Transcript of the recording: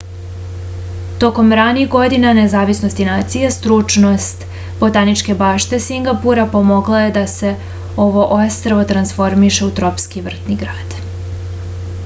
tokom ranih godina nezavisnosti nacije stručnost botaničke bašte singapura pomogla je da se ovo ostrvo transformiše u tropski vrtni grad